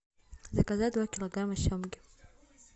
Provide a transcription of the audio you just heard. заказать два килограмма семги